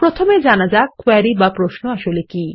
প্রথমে জানা যাক কোয়েরি বা প্রশ্ন আসলে কি